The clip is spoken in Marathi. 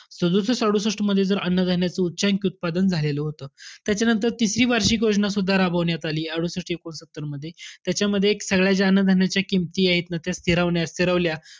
सदुसष्ट-अडुसष्टमध्ये जर अन्न-धान्याचं उच्चयांकी उत्पादन झालेलं होतं. त्याच्यानंतर तिसरी वार्षिक योजनासुद्धा राबवण्यात आली अडुसष्ट-एकोणसत्तरमध्ये. त्याच्यामध्ये एक सगळ्या ज्या अन्न-धान्याच्या किमती आहेत ना त्या फिरवण्यात~ फिरवल्या.